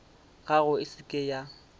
gago e se ke ya